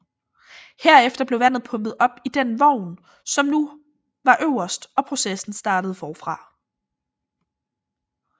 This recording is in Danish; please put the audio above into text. Herefter blev vandet pumpet op i den vogn som nu var øverst og processen startede forfra